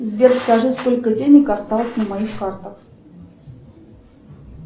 сбер скажи сколько денег осталось на моих картах